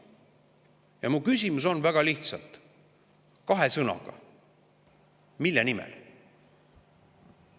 Ja mu küsimus on väga lihtne, kahe sõnaga: mille nimel?